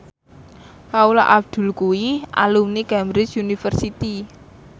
Paula Abdul kuwi alumni Cambridge University